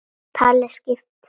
Talið skip?